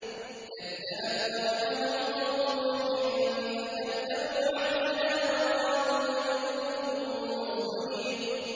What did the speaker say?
۞ كَذَّبَتْ قَبْلَهُمْ قَوْمُ نُوحٍ فَكَذَّبُوا عَبْدَنَا وَقَالُوا مَجْنُونٌ وَازْدُجِرَ